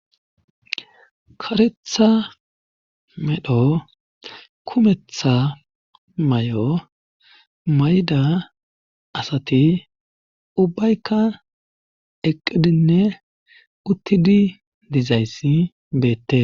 Karetha medho kumetha may7o mayda asati ubbaykka eqqidinne uttidi dizayssi beette.